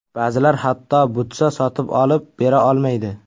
Ba’zilar hatto butsa sotib olib bera olmaydi.